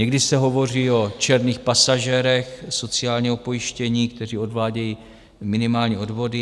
Někdy se hovoří o černých pasažérech sociálního pojištění, kteří odvádějí minimální odvody.